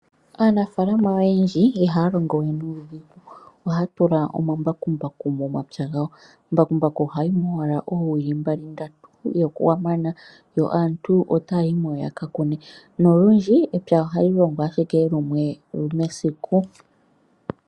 Aanafaalama oyendji ihaya longo we nuudhigu. Ohaya tula omambakumbaku momapya gawo. Mbakumbaku ohayi mo owala oowili mbali ndatu ye okwa mana yo aantu otaya yimo yakakune nolundji epya ohali longwa ashike lumwe mesiku.